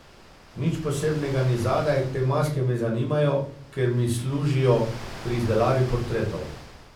Nič posebnega ni zadaj, te maske me zanimajo, ker mi služijo pri izdelavi portretov.